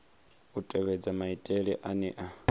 u tevhedza maitele ane a